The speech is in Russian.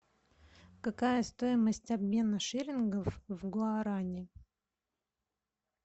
какая стоимость обмена шиллингов в гуарани